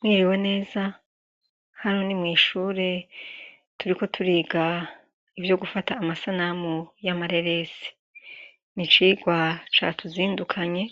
Mwiriwe neza hano ni mwishure turiko turiga ivyo gufata amasanamu y'amarerese nicirwa ca tuzindukanye